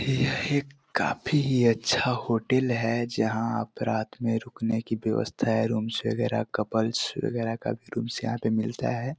यह काफ़ी ही अच्छा होटल है जहाँ पर रात को रुकने की विवस्ता है रूम्स वगेरा कपल्स वगेरा का रूमस यहाँ पे मिलता है।